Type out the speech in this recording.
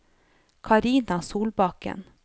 Carina Solbakken